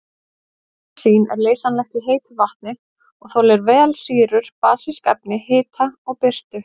Níasín er leysanlegt í heitu vatni og þolir vel sýrur, basísk efni, hita og birtu.